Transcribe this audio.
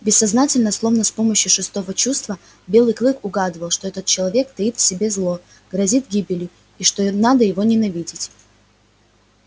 бессознательно словно с помощью шестого чувства белый клык угадывал что этот человек таит в себе зло грозит гибелью и что его надо ненавидеть